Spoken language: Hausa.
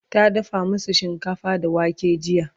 ta dafa masu shinkafa da wake jiya